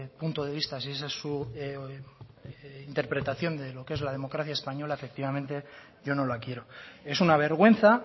punto de vista si esa es su interpretación de lo que es la democracia española efectivamente yo no la quiero es una vergüenza